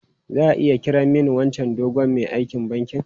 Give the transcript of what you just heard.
Za a iya kiran mani wancan dogon mai aikin bankin?